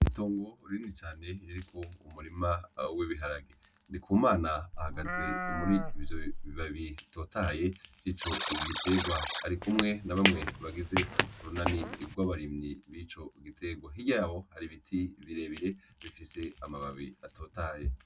Itongo rinini cane ririko umurima w'ibiharage. Ndikumana ahagaze muri ivyo bibabi bitotahaye vy'ico giterwa, ari kumwe na bamwe bagize urunani rw'abarimyi bico giterwa. Hirya y'abo hari ibiti birebire bifise amababi atotahaye.